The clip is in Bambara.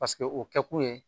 Paseke o kɛkun ye